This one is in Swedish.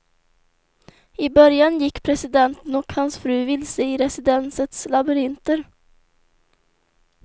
I början gick presidenten och hans fru vilse i residensets labyrinter.